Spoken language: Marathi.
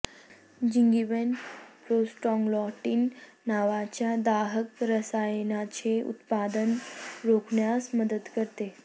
जिंगीबेन प्रोस्टाग्लॅंडिन नावाच्या दाहक रसायनाचे उत्पादन रोखण्यास मदत करते